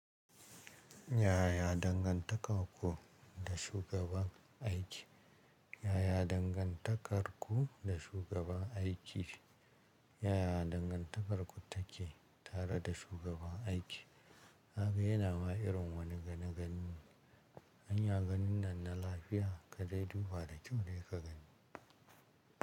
Yaya dangantakarku da shugaban aiki? Yaya dangantakarku da shugaban aiki? Yaya dangantakarku take tare da shugaban aiki? Naga yana ma irin wani gani gani. Anya ganin nan na lafiya? Ka dai duba da kyau dai ka gani.